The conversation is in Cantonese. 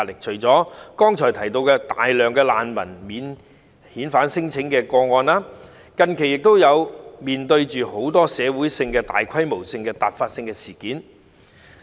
除了剛才提及大量涉及難民的免遣返聲請外，香港近期亦面對很多大規模突發性的社會事件。